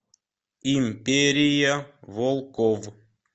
империя волков